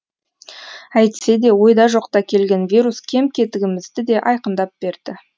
әйтсе де ойда жоқта келген вирус кем кетігімізді де айқындап берді